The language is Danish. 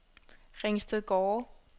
Ringstedgårde